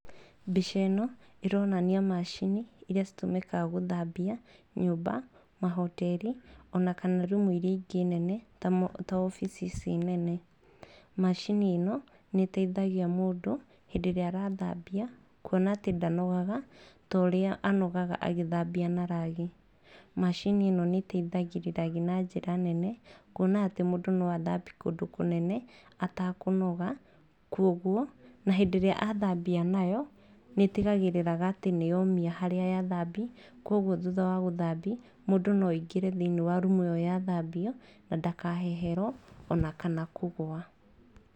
Mbica ĩno ĩronania macini irĩa citũmĩkaga gũthambia nyũmba, ma hoteri ona kana rumu irĩa ingĩ nene ta wabici ici nene. Macini ĩno nĩ ĩteithagia mũndũ hĩndĩ ĩrĩa arathambia, kuona atĩ ndanogaga ta ũrĩa anogaga agĩthambia na rag. Macini ĩno nĩ ĩteithagĩrĩria na njĩra nene kuona atĩ mũndũ no athambia kũndũ kũnene atakũnoga. Kwoguo na hĩndĩ ĩrĩa athambia nayo, nĩ ĩtigagĩrĩra atĩ nĩ yomia harĩa yathambi. Koguo thutha wa gũthambi, mũndũ no aingĩre thĩiniĩ wa rumu ĩyo yathambio na ndakaheherwo ona kana kũgũa.